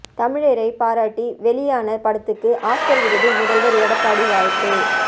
தமிழரை பாராட்டி வெளியான படத்துக்கு ஆஸ்கார் விருது முதல்வர் எடப்பாடி வாழ்த்து